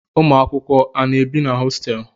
Ụmụakwụkwọ a na-ebi na hositelu?